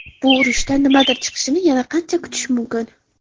Bu urushdan nimadir chiqishini yana qancha kutish mumkin?